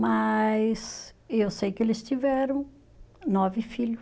Mas eu sei que eles tiveram nove filho